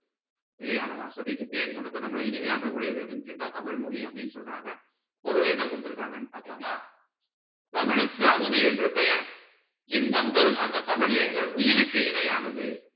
இல்லையா நம்ம அசதிக்கு தேன் கொடுத்து நம்மள இனிமையாக்க கூடியது எதுன்னு கேட்டா தமிழ் மொழி அப்படீன்னு சொல்றாங்க பொருள் என்ன கொடுத்திருக்காங்கன்னு பார்க்கலாமா தமிழ்க்கு அமுது என்று பெயர் இன்பம் தரும் அந்த தமிழ் எங்கள் உயிருக்கு இணையானது